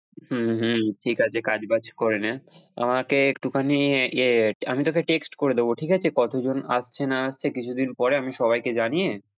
হম হম ঠিক আছে কাজ-বাজ করে নে আমাকে একটুখানি ইয়ে আমি তোকে text করে দেব ঠিক আছে কতজন আসছে না আসছে কিছুদিন পরে আমি সবাইকে জানিয়ে।